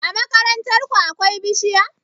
A makarantar ku akwai bishiya?